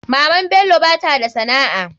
Maman bello bata da sana'a.